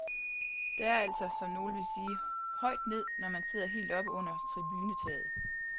Der er altså, som nogle ville sige, højt ned, når man sidder helt oppe under tribunetaget.